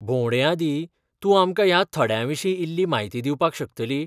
भोंवडेआदीं, तूं आमकां ह्या थड्यांविशीं इल्ली म्हायती दिवपाक शकतली?